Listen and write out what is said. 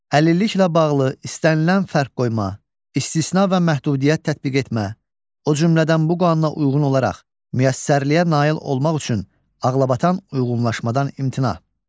Əlilliklə bağlı istənilən fərq qoyma, istisna və məhdudiyyət tətbiq etmə, o cümlədən bu qanuna uyğun olaraq müəssərliliyə nail olmaq üçün ağlabatan uyğunlaşmadan imtina.